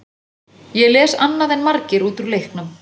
Ég les annað en margir út úr leiknum.